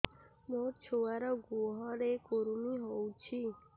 ମୋ ଛୁଆର୍ ଗୁହରେ କୁର୍ମି ହଉଚି